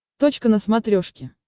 точка на смотрешке